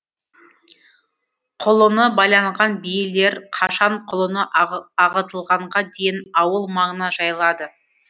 құлыны байланған биелер қашан құлыны ағытылғанға дейін ауыл маңына жайылады